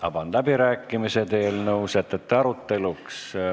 Avan läbirääkimised eelnõu sätete aruteluks.